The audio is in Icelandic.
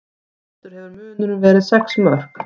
Mestur hefur munurinn verið sex mörk